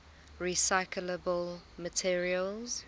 recyclable materials